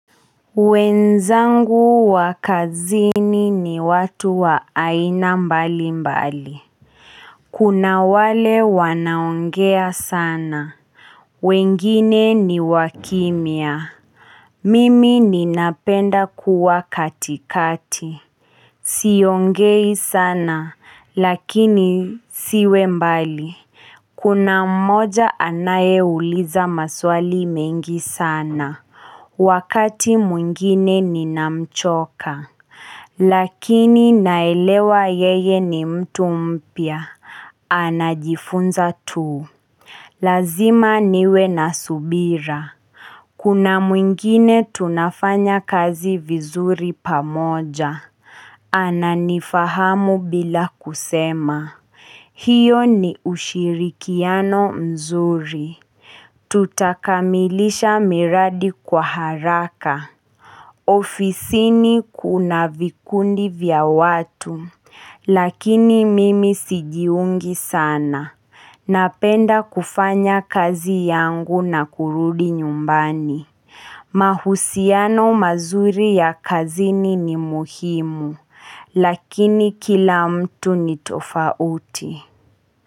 Wenzangu wakazini ni watu wa aina mbali mbali Kuna wale wanaongea sana wengine ni wakimya Mimi ninapenda kuwa katikati Siongei sana lakini siwe mbali kuna mmoja anaye uliza maswali mengi sana Wakati mwingine ninamchoka Lakini naelewa yeye ni mtu mpya Anajifunza tuu Lazima niwe na subira Kuna mwingine tunafanya kazi vizuri pamoja ana nifahamu bila kusema hiyo ni ushirikiano mzuri Tutakamilisha miradi kwa haraka ofisini kuna vikundi vya watu Lakini mimi sijiungi sana Napenda kufanya kazi yangu na kurudi nyumbani mahusiano mazuri ya kazini ni muhimu Lakini kila mtu ni tofauti.